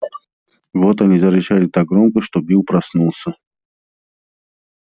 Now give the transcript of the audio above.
вот они зарычали так громко что билл проснулся